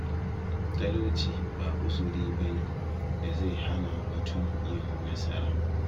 Talauci ba uzuri ba ne da zai hana mutum yin nasara.